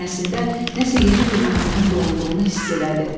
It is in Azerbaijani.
Sinəsində nəsə yeni bir mahnının doğulduğunu hiss elədi.